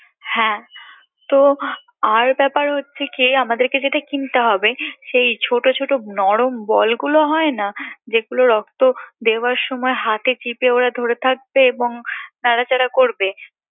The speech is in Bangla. হ্যাঁ তো আরো ব্যাপার হচ্ছে কি আমাদেরকে যেটা কিনতে হবে সেই ছোট ছোট নরম বলগুলো হয়না যেগুলো রক্ত দেওয়ার সময় হাতে চিপে ওরা ধরে রাখবে এবং নাড়াচাড়া করবে